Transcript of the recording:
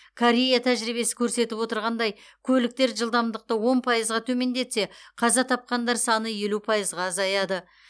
корея тәжірибесі көрсетіп отырғандай көліктер жылдамдықты он пайызға төмендетсе қаза тапқандар саны елу пайыз азаяды